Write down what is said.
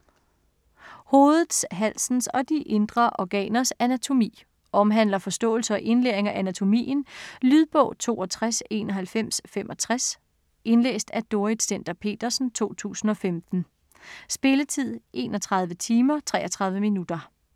Hovedets, halsens & de indre organers anatomi Omhandler forståelse og indlæring af anatomien. Lydbog 629165 Indlæst af Dorrit Stender-Petersen, 2015. Spilletid: 31 timer, 33 minutter.